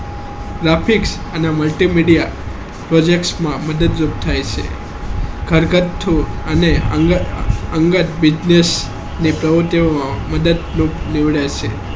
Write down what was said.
graphics અને multimedia projects માં મદદ કરું થાય છે ઘરગતું અને અંગત business ને મદદ મિલે છે